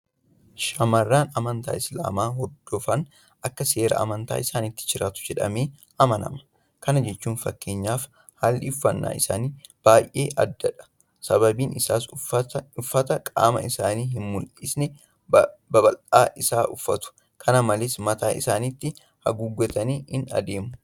Shaamarran amantaa Islaamaa hordofan akka seera amantaa isaaniitti jiraatu jedhamee amanama. Kana jechuun fakkeenyaaf haalli uffannaa isaanii baay'ee addadha. Sababiin isaas uffata qaama isaanii hinmul'isne babal'aa isaa uffatu. Kana malees mataa isaaniitti haguuggatanii adeemu.